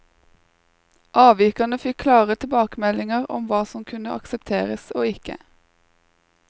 Avvikerne fikk klare tilbakemeldinger om hva som kunne aksepteres og ikke.